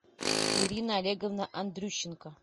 ирина олеговна андрющенко